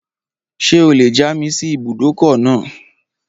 Ṣé o lè já mi sí ibùdókọ̀ náà?